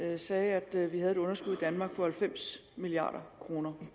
her sagde at vi har et underskud i danmark i størrelsesordenen halvfems milliard kroner det